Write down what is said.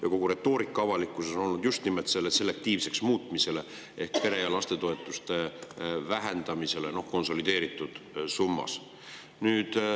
Ja kogu retoorika avalikkuses on olnud suunatud just nimelt peretoetuste ja lastetoetuste selektiivseks muutmisele ehk nende vähendamisele konsolideeritud summas.